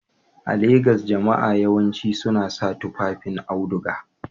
A Legas, jama'a yawanci suna sa tufafin auduga